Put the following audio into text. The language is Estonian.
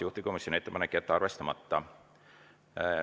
Juhtivkomisjoni ettepanek on jätta arvestamata.